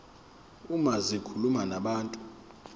uma zikhuluma nabantu